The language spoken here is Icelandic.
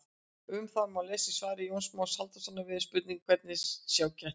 Um þetta má lesa í svari Jóns Más Halldórssonar við spurningunni Hvernig sjá kettir?